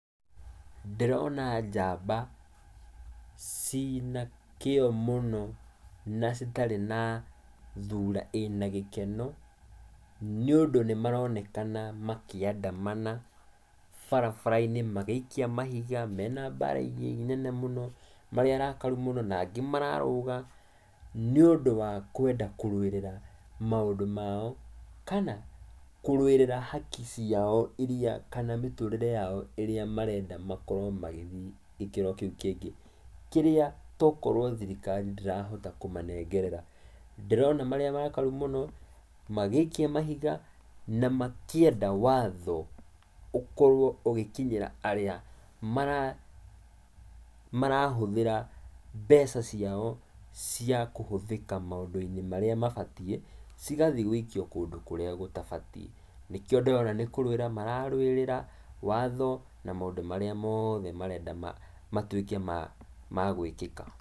Ndĩrona njamba cina kĩyo mũno, na citarĩ na thura ĩna gĩkeno, nĩũndũ nĩmaronekana makĩandamana barabara-inĩ magĩikia mahiga menambaragi nene mũno, marĩ arakaru mũno, na angĩ mararũga nĩũndũ wa kwenda kũrũĩrĩra maũndũ mao, kana, kũrũĩrĩra haki ciao, iria, kana mĩtũrĩre yao ĩrĩa marenda makorwo magĩthiĩ gĩkĩro kĩu kĩngĩ, kĩrĩa tokorwo thirikari ndĩrahota kũmanengerera. Ndĩrona marĩ arakaru mũno, magĩikia mahiga na makĩenda watho ũkorwo ũgĩkinyĩra arĩa mara marahũthĩra mbeca ciao cia kũhũthĩka maũndũ-inĩ marĩa mabatiĩ, cigathiĩ gũikio kũndũ kũrĩa gũtabatiĩ, nĩkĩo ndĩrona nĩ kũrũĩra mararũĩrĩra watho na maũndũ marĩa moothe marenda matuĩke magũĩkĩka.